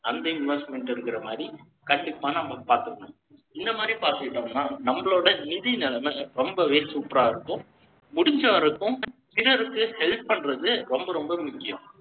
அந்த investment இருக்கிற மாதிரி, கண்டிப்பா, நம்ம பார்த்துக்கணும் இந்த மாதிரி பார்த்துக்கிட்டோம்ன்னா, நம்மளோட நிதி நிலைமை, ரொம்பவே super ஆ இருக்கும். முடிஞ்ச வரைக்கும், சிலருக்கு help பண்றது, ரொம்ப ரொம்ப முக்கியம்.